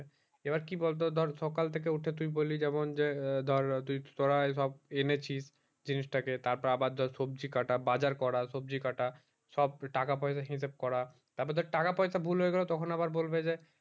এইবার কি বলতো ধর সকাল থেকে উঠে তুই বলি যেমন যে ধর তুই তোরাই সব এনেছিস জিনিস টা কে তার পর আবার ধর সবজি কাটা বাজার করা সবজি কাটা সব টাকা পয়সা হিসাব করা তার পর ধর টাকা পয়সা ভুল হয়ে গেলো তখন আবার বলবে যে